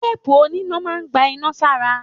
Teepu oníná máa n gbà iná sára.